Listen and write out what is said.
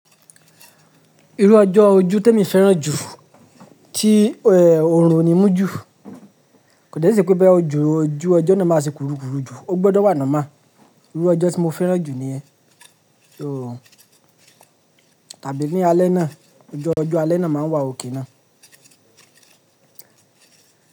Irú ọjọ́ ojú temi fẹ́ràn jù, tí èh òòrùn o ni mú jù, ko de n se pé boya ojo ojú ọjọ́ náà ma ṣe kúrukùru jù, ó gbọ́dọ̀ wà normal. Irú ọjọ́ tí mo fẹ́ràn jù ni ẹ́. Oòrùn, tàbí ní alẹ́ náà, ọjọ́ ọjọ́ alẹ́ náà máa ń wá okay náà.